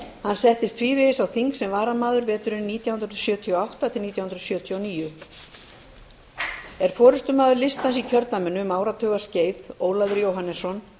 hann settist tvívegis á þing sem varamaður veturinn nítján hundruð sjötíu og átta til nítján hundruð sjötíu og níu er forustumaður listans í kjördæminu um áratugaskeið ólafur jóhannesson